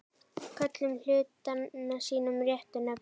Köllum hlutina sínum réttu nöfnum.